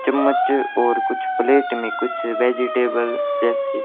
चम्मच और कुछ प्लेट मे कुछ वेजिटेबल जैसी--